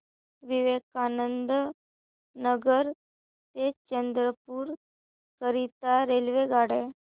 विवेकानंद नगर ते चंद्रपूर करीता रेल्वेगाड्या